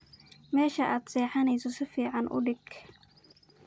Meshad sexaneyso sificn udag.